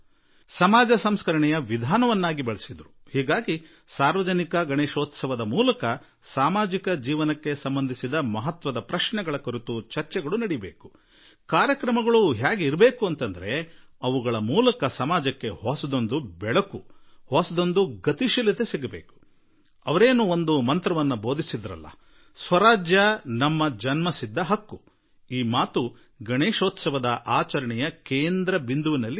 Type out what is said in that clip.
ಸಮಾಜ ಸಂಸ್ಕಾರದ ಹಬ್ಬ ಮಾಡಿದರು ಮತ್ತು ಸಾರ್ವಜನಿಕ ಗಣೇಶೋತ್ಸವದ ಮೂಲಕ ಸಮಾಜ ಜೀವನ ತಟ್ಟುವ ಪ್ರಶ್ನೆಗಳ ವಿಸ್ತೃತ ಚರ್ಚೆಯಾಗಲಿ ಸಮಾಜಕ್ಕೆ ಹೊಸ ಓಜಸ್ಸು ಹೊಸ ತೇಜಸ್ಸು ನೀಡುವಂತಹ ಕಾರ್ಯಕ್ರಮಗಳು ರೂಪಿತಗೊಳ್ಳಲಿ ಮತ್ತು ಇದರೊಟ್ಟಿಗೆ ಅವರು ನೀಡಿದ ಸ್ವರಾಜ್ಯ ನಮ್ಮ ಜನ್ಮಸಿದ್ಧ ಹಕ್ಕು ಎಂಬ ಮಾತು ಕೇಂದ್ರ ಬಿಂದುವಾಗಿರಲಿ